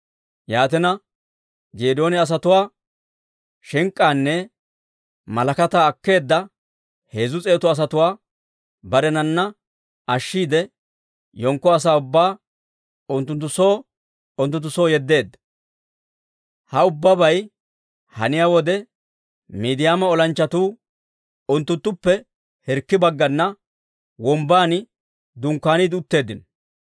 Yaatina, Geedooni asatuwaa shink'k'aanne malakataa akkeedda heezzu s'eetu asatuwaa barenana ashshiide, yenkko asaa ubbaa unttunttu soo unttunttu soo yeddeedda. Ha ubbabay haniyaa wode, Miidiyaama olanchchatuu unttuttuppe hirkki bagganna wombbaan dunkkaaniide utteeddino.